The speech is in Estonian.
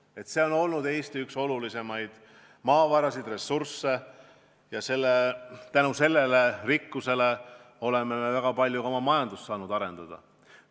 Põlevkivi on olnud Eesti üks olulisemaid maavarasid, üks olulisemaid ressursse ja tänu sellele rikkusele oleme me saanud väga palju ka oma majandust arendada.